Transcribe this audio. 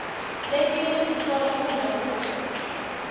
letinye sitfola kudla kuto